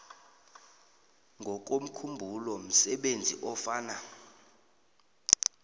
ngokomkhumbulo msebenzi ofana